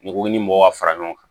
N'i ko i ni mɔgɔ ka fara ɲɔgɔn kan